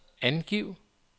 angiv